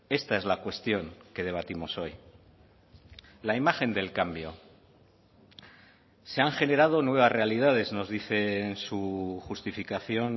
esta es la cuestión que debatimos hoy la imagen del cambio se han generado nuevas realidades nos dice en su justificación